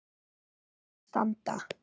að standa.